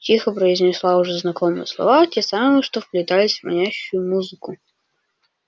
тихо произнесла уже знакомые слова те самые что вплетались в манящую музыку